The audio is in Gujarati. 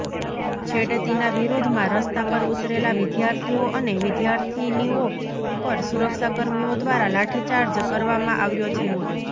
છેડતીના વિરોધમાં રસ્તા પર ઉતરેલા વિદ્યાર્થીઓ અને વિદ્યાર્થિનીઓ પર સુરક્ષાકર્મીઓ દ્વારા લાઠીચાર્જ કરવામાં આવ્યો છે